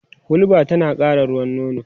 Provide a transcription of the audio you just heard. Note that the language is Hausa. hulba tana ƙara ruwan nono